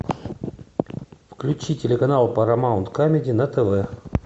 включи телеканал парамаунт камеди на тв